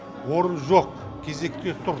орын жоқ кезекте тұр